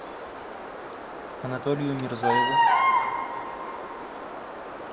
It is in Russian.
анатолию мирзоеву